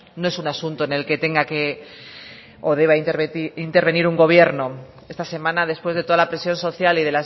no es un asunto en el que tenga o deba intervenir un gobierno esta semana después de toda la presión social y